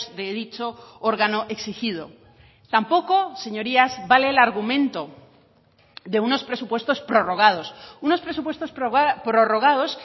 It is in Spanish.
de dicho órgano exigido tampoco señorías vale el argumento de unos presupuestos prorrogados unos presupuestos prorrogados